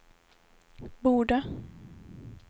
borde